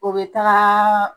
O be taga